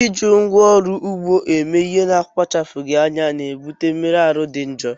Iji ngwá ọrụ ugbo eme ihe n'akpachapụghị anya na-ebute mmerụ ahụ dị njọ